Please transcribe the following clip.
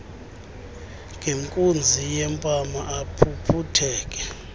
ngenkunzi yempama aphuphutheke